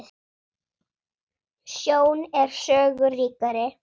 Sjón er sögu ríkari.